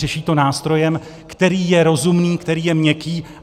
Řeší to nástrojem, který je rozumný, který je měkký.